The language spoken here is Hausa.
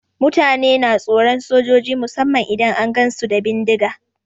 Mutane na tsoron sojoji musamman idan an gansu da bindiga.